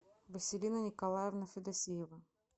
василина николаевна федосеева